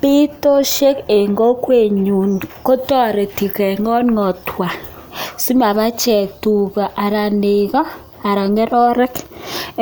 Pitosheeek Eng kokwet nyuun kotariti Eng pcheet ab